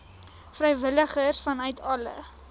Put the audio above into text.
vrywilligers vanuit alle